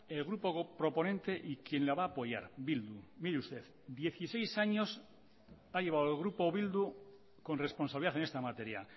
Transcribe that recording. el grupo proponente y quien la va a apoyar bildu mire usted dieciseis años ha llevado el grupo bildu con responsabilidad en esta materia